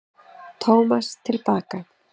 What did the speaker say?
Tómas til baka.